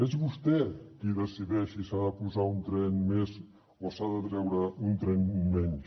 és vostè qui decideix si s’ha de posar un tren més o s’ha de treure un tren menys